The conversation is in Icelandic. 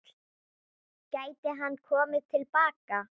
Gæti hann komið til baka?